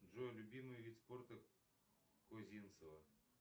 джой любимый вид спорта козинцева